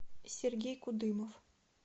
сергей кудымов